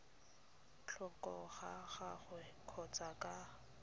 tlhoko ga gagwe kgotsa ka